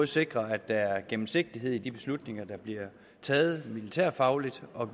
sikrer at der er gennemsigtighed i de beslutninger der bliver taget militærfagligt og